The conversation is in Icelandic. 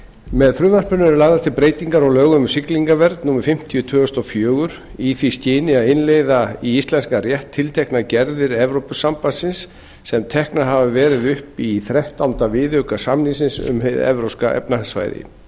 með frumvarpinu eru lagðar til breytingar á lögum um siglingavernd númer fimmtíu tvö þúsund og fjögur í því skyni að innleiða í íslenskan rétt tilteknar gerðir evrópusambandsins sem teknar hafa verið upp í þrettánda viðauka samningsins um hið evrópska efnahagssvæði